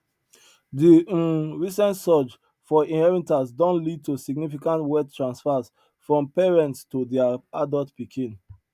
de um recent surge for inheritance don lead to significant wealth transfers from parents to their adult pikin